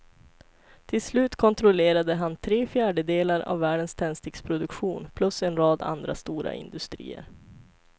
Till slut kontrollerade han tre fjärdedelar av världens tändsticksproduktion plus en rad andra stora industrier.